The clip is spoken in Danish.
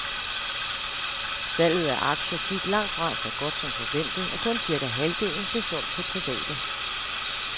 Salget af aktier gik langt fra så godt som forventet, og kun cirka halvdelen blev solgt til private.